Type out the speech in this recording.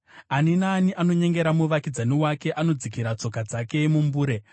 Ani naani anonyengera muvakidzani wake anodzikira tsoka dzake mumbure.